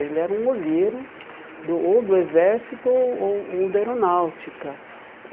Ele era um olheiro do ou do exército ou ou ou da aeronáutica.